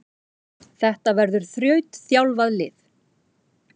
Þetta verður þrautþjálfað lið.